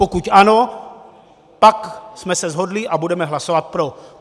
Pokud ano, pak jsme se shodli a budeme hlasovat pro.